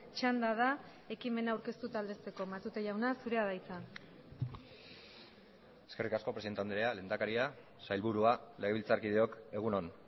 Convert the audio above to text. txanda da ekimena aurkeztu eta aldezteko matute jauna zurea da hitza eskerrik asko presidente andrea lehendakaria sailburua legebiltzarkideok egun on